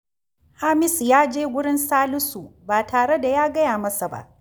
Hamisu ya je wurin Salisu ba tare da ya gaya masa ba